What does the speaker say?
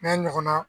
N'a ɲɔgɔnna